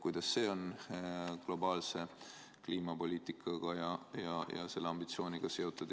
Kuidas see on globaalse kliimapoliitikaga ja selle ambitsioonidega seotud?